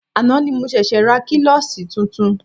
Àná ni mo ṣẹ̀ṣė ra klọ́ṣí tuntun.